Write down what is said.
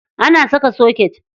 Ana saka soket.